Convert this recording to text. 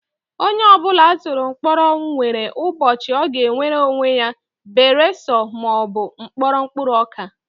Onye ọ bụla a tụrụ mkpọrọ nwere ubochi ọ ga-enwere onwe ya beresọ ma ọ bụ mkpọrọ mkpụrụ ọka